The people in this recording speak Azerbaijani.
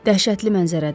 Dəhşətli mənzərədir.